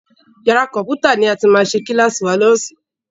Yàrá kọ̀mpútà ní a máa ti ṣe kílàsì wa ní ọ̀sán.